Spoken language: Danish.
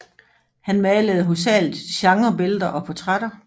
Han malede hovedsageligt genrebilleder og portrætter